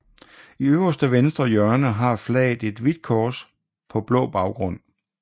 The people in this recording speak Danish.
I øvre venstre hjørne har flaget et hvidt kors på blå baggrund